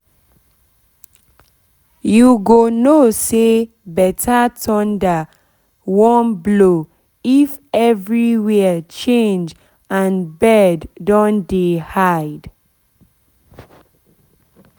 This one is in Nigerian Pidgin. you go know say better thunder better thunder wan blow if everywhere change and bird don dey hide